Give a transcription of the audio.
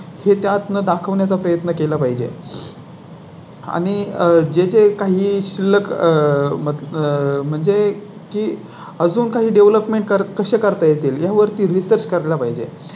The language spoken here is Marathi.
हे त्यात दाखवण्या चा प्रयत्न केला पाहिजे. आणि आह जे जे काही शिल्लक आह म्हणजे की अजून काही Development कसे करता येतील यावर ती तच कर ला पाहिजे